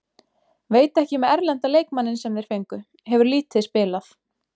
Veit ekki með erlenda leikmanninn sem þeir fengu, hefur lítið spilað.